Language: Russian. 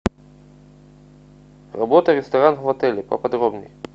работа ресторан в отеле поподробней